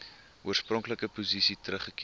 oorspronklike posisie teruggekeer